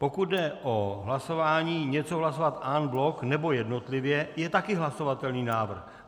Pokud jde o hlasování něco hlasovat en bloc, nebo jednotlivě, je také hlasovatelný návrh.